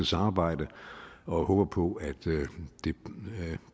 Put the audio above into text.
samarbejde og håber på at det